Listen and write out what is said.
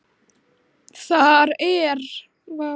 Þar er